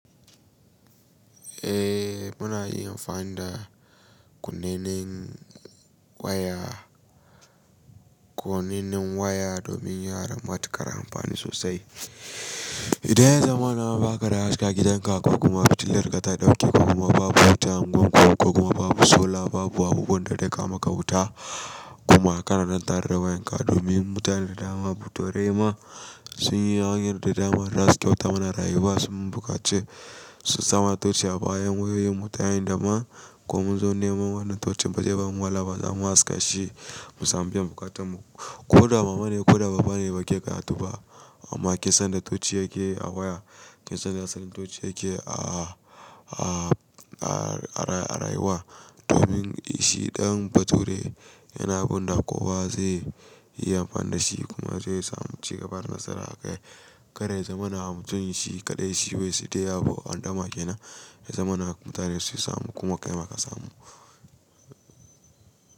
Eh muna iya amfani da kunnenen waya, konennan waya domin yara matuƙar amfani sosai. Idan zamanin ba ka da haske, gidan ka kuma fitilar ka ta dauke kuma babu wuta, unguwar ku kuma babu sola, babu abubuwan da zai kawo maka wuta kuma kana lantarkwayen ka domin mutane da dama bature ma sun yi hanyar da dama, dan su kyauta mana rayuwa sun bukaci sun samana toci a bayan wayoyin mu ta hanyar dama kuma mun zo neman wannan tocin ba ze bamu wahala ba za mu haska shi mu sami biyan buƙatan mu. Ko da mama ne ko da baba ne ba ke gyaƙa tu ba amma kinsan inda toci yake a waya, kisan inda asalin toci yake a rayuwa domin shi dan bature yana abinda kowa zai yi amfani da shi kuma zai samu ci gaban nasara a kai. Karya zamana mutum shi kaɗai shi bai shi saki abu haɗama kenan ya zamana mutane su samu kuma kai ma ka samu.